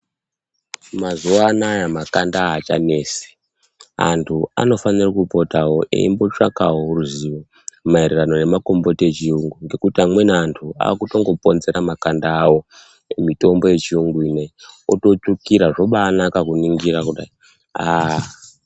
Mazuwanaya makanda aachanesi. Antu anofana kumbopota eitsvakawo ruzivo maererano nemakomboti echuyungu ngekuti amweni antu akutongoponzera makanda awo kumitombo yechiyungu ineyi ototsvukira zvobanaka kuningira kudai.